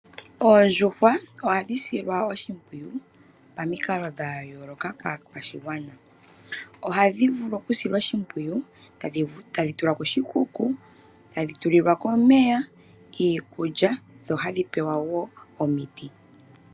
Oondjuhwa ohadhisilwa oshimpwiyu pamikalo dhayooloka kaakwashigwana. Ohadhivulu okusilwa oshimpwiyu tadhitulwa koshikuku, tadhitulilwa ko omeya, iikukya dho hadhipewa wo omiti.